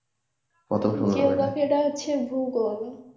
geography এটা হচ্ছে ভূগোল